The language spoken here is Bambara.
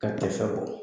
Ka tɛfan bɔ